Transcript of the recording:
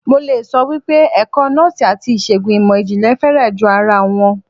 Mo le sọ wípé ẹ̀kọ́ Nọ́ọ́sì àti ìṣègùn ìmò ìjìnlẹ̀ fẹ́rẹ̀ jọ ara wọn.